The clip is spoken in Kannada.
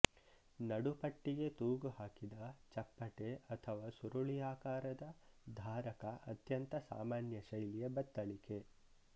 ನಡುಪಟ್ಟಿಗೆ ತೂಗುಹಾಕಿದ ಚಪ್ಪಟೆ ಅಥವಾ ಸುರುಳಿಯಾಕಾರದ ಧಾರಕ ಅತ್ಯಂತ ಸಾಮಾನ್ಯ ಶೈಲಿಯ ಬತ್ತಳಿಕೆ